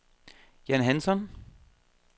Jan Hansson